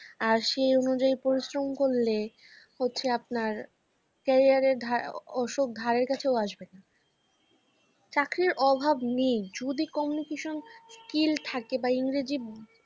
আর সেই অনুযায়ী পরিশ্রম করলে হচ্ছে আপনার career ধারা ওসব ধারে কাছে আসবেনা। চাকরির অভাব নেই যদি communication skill থাকে বা ইংরেজি ব